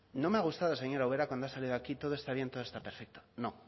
no me ha gustado señora ubera cuando ha salido aquí todo está bien todo está perfecto no